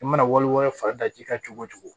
I mana wali wɛrɛ fa ji ka cogo cogo